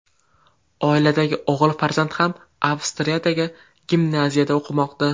Oiladagi o‘g‘il farzand ham Avstriyadagi gimnaziyada o‘qimoqda.